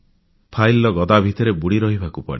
file ଗଦା ଭିତରେ ବୁଡ଼ି ରହିବାକୁ ପଡ଼େ